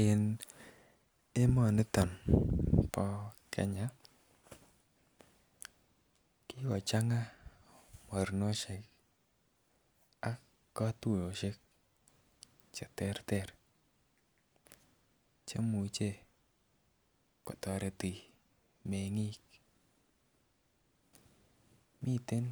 En emoniton bo Kenya kjkochanga mornoahek ak kotuyoshek cheterter cheimuche kotoreti mengik, miten